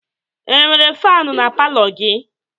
E nwere fanụ na palọ gị?